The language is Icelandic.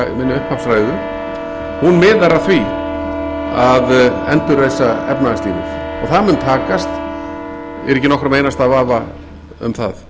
upphafsræðu miðar að því að endurreisa efnahagslífið og það mun takast ég er ekki í nokkrum einasta vafa um það